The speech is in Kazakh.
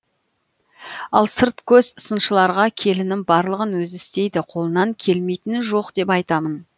ал сырт көз сыншыларға келінім барлығын өзі істейді қолынан келмейтіні жоқ деп айтамын